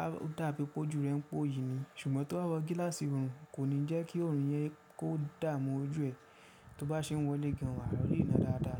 Á dàbí pé ojú rẹ ń pò yìí ni. Ṣùgbọ́n tóba wọ gíláàsì ọrùn kò ní jẹ́ kí ọrùn yẹn kó dààmú ojú ẹ tó bá ṣe wọlé gan, wàá ríná dáadáa.